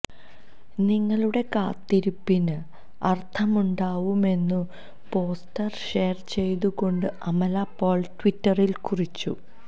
നിങ്ങളുടെ കാത്തിരിപ്പിന് അര്ഥമുണ്ടാവുമെന്നു പോസ്റ്റര് ഷെയര് ചെയ്തുകൊണ്ട് അമല പോള് ട്വിറ്ററില് കുറിച്ചു